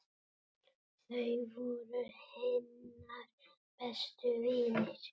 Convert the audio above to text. Þau voru hennar bestu vinir.